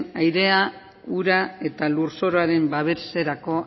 airea ura eta lurzoruaren babeserako